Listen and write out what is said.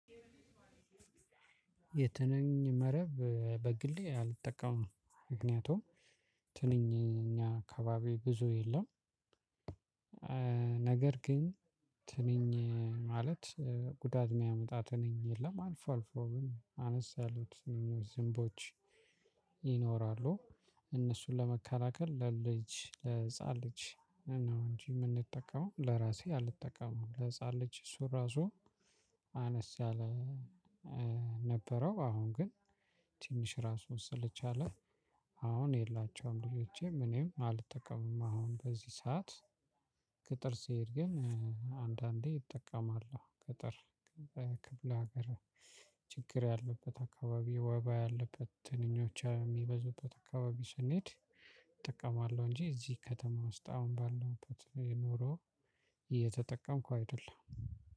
የትንኝ መረብ በግሌ አልጠቀምም ምክያቱም ትንኝ እኛ አካባቢ ብዙ የለም። ነገር ግን ትንኝ ማለት ጉዳት የሚያመጣ ትንኝ የለም አልፎ አልፎ ግን አነስ ያሉት ዝምቦች ይኖራሉ። እነሱን ለመከላከል ለልጅ ለህፃን ልጅ ነው እንጂ የምንጠቀመው ለራሴ አልጠቀመም ለህፃን ልጅ እሱ ራሱ አነስ ያለ። ነበረው አሁን ግን ትንሽ እራሱን ስለቻለ አሁን የላቸውም። ልጆቼም እኔም አልጠቀምም አሁን በዚህ ሰዓት። ገጠር ስሄድ ግን አንዳንዴ እጠቀማለሁ ገጠር ክፍለ ሀገር ችግር ያለበት አካባቢ ወባ ያለበት ትንኞች የሚበዙበት አካባቢ ስንሄድ እጠቀማለሁ። እንጂ እዚህ ከተማ ውስጥ አሁን ባለውበት የኑሮ እየተጠቀምኩ አይደለም።